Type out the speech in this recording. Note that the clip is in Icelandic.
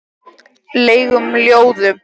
legum ljóðum.